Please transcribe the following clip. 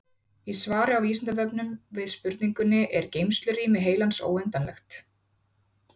Í svari á Vísindavefnum við spurningunni Er geymslurými heilans óendanlegt?